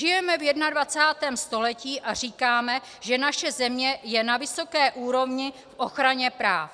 Žijeme v 21. století a říkáme, že naše země je na vysoké úrovni v ochraně práv.